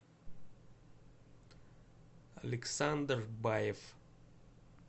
александр баев